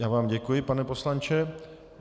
Já vám děkuji, pane poslanče.